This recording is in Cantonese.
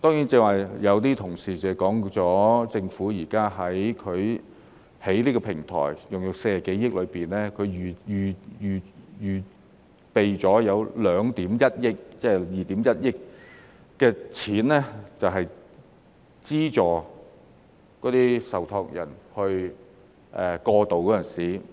另外，有些同事剛才提到，政府現時在這個平台所花的40多億元中，預留了2億 1,000 萬元用作資助受託人過渡時的費用。